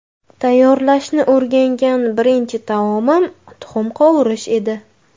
Tayyorlashni o‘rgangan birinchi taomim tuxum qovurish edi.